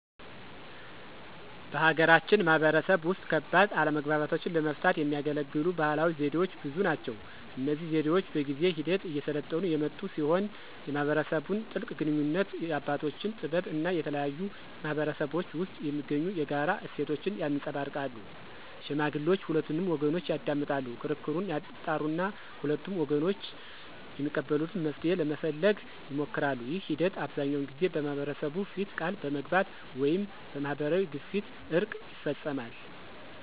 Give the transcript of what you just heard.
በሀገራችን ማህበረሰብ ውስጥ ከባድ አለመግባባቶችን ለመፍታት የሚያገለግሉ ባህላዊ ዘዴዎች ብዙ ናቸው። እነዚህ ዘዴዎች በጊዜ ሂደት እየሰለጠኑ የመጡ ሲሆን የማህበረሰቡን ጥልቅ ግንኙነት፣ የአባቶችን ጥበብ እና የተለያዩ ማህበረሰቦች ውስጥ የሚገኙ የጋራ እሴቶችን ያንፀባርቃሉ። ሽማግሌዎች ሁለቱንም ወገኖች ያዳምጣሉ፣ ክርክሩን ያጣራሉ እና ሁለቱም ወገኖች የሚቀበሉትን መፍትሄ ለመፈለግ ይሞክራሉ። ይህ ሂደት አብዛኛውን ጊዜ በማህበረሰቡ ፊት ቃል በመግባት ወይም በማህበራዊ ግፊት እርቅ ይፈፀማል።